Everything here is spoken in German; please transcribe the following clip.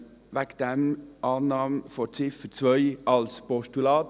Deshalb: Annahme von Ziffer 2 als Postulat.